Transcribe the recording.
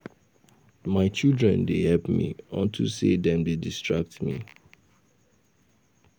My children dey help me unto say dem dey distract me